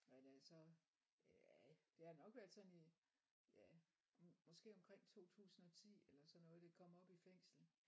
Hvad det hedder så ja det har nok været sådan i ja måske omkring 2010 eller sådan noget det kom op i fængslet